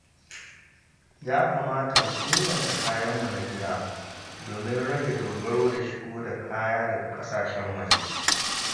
Ya kamata mu inganta kayanmu na gida, domin rage dogaro da shigo da kaya daga ƙasashen waje.